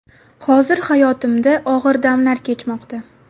Hozir hayotimda og‘ir damlar kechmoqda.